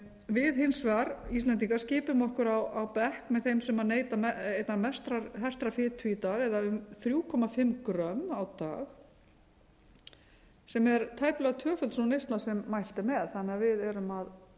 við hins vegar íslendingar skipum okkur á bekk með þeim sem neyta einnar mestrar hertrar fitu í dag eða um þrjú komma fimm grömm á dag sem er tæplega svona neysla sem mælt er með þannig að við erum að